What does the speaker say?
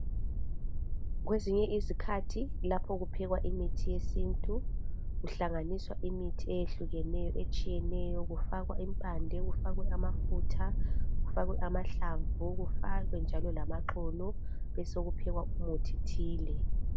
Kwesinye izikhathi lapho kuphekwa imithi yesintu kuhlanganiswa imithi eyehlukeneyo etshiyeneyo kufakwe amafutha, kufakwe amahlamvu, kufakwe njalo lamaxolo besikuphekwa umuthi thile.